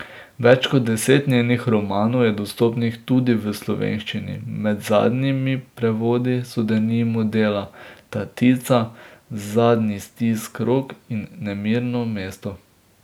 Več kot deset njenih romanov je dostopnih tudi v slovenščini, med zadnjimi prevodi so denimo dela Tatica, Zadnji stisk rok in Nemirno mesto.